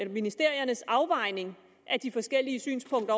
ministeriernes afvejning af de forskellige synspunkter